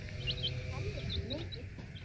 Hún kennir okkur mikið.